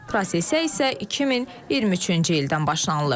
Prosesə isə 2023-cü ildən başlanılıb.